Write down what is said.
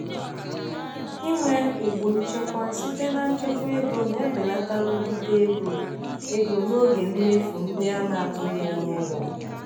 inwe ụgbụ nchekwa site na nchekwa ego na-ebelata nrụgide ego ego n'oge mmefu ndị a na-atụghị anya ya.